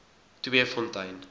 tweefontein